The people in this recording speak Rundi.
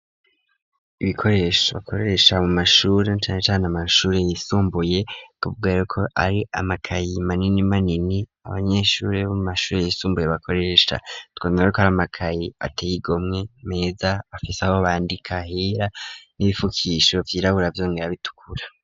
ibikoresho bakoresha mu mashuri na cane cane amashuri yisumbuye nukuvuga yuko ari amakaye manini manini abanyeshuri bo mu mashuri yisumbuye bakoresha tubona ko ari amakayi ateye igomwe meza afise aho bandika hera n'ibipfukisho vyera vyongera bitukura.